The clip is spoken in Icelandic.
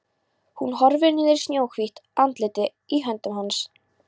Hún horfir niður í snjóhvítt andlitið í höndum hans.